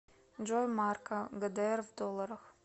джой марка гдр в долларах